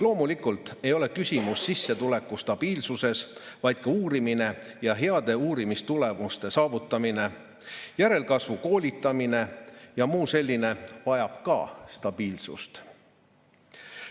Loomulikult ei ole küsimus sissetuleku stabiilsuses, vaid selles, et ka uurimine ja heade uurimistulemuste saavutamine, järelkasvu koolitamine ja muu selline vajab stabiilsust.